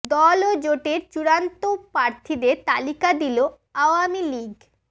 দল ও জোটের চূড়ান্ত প্রার্থীদের তালিকা দিল আওয়ামী লীগ